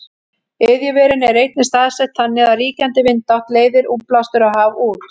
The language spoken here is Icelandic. iðjuverin eru einnig staðsett þannig að ríkjandi vindátt leiðir útblástur á haf út